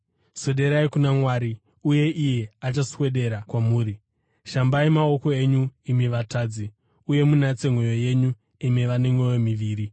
Swederai kuna Mwari uye iye achaswedera kwamuri. Shambai maoko enyu, imi vatadzi, uye munatse mwoyo yenyu, imi vane mwoyo miviri.